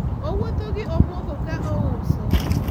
owuotho gi omuogo ka ouso